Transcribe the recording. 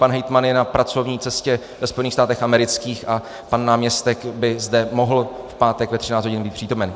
Pan hejtman je na pracovní cestě ve Spojených státech amerických a pan náměstek by zde mohl v pátek ve 13 hodin být přítomen.